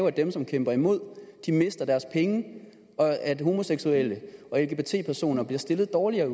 at dem som kæmper imod mister deres penge og at homoseksuelle og lgbt personer bliver stillet dårligere